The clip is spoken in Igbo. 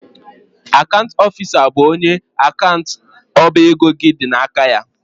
Akant ọfisa bụ onye akant ọba ego gị dị n'aka ya.